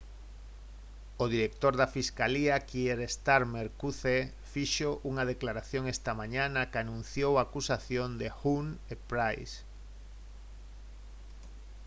o director da fiscalía kier starmer qc fixo unha declaración esta mañá na que anunciou a acusación de huhne e pryce